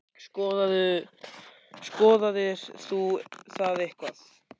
Skoðaðir þú það eitthvað?